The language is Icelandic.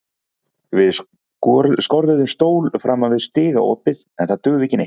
Við skorðuðum stól framan við stigaopið en það dugði ekki neitt.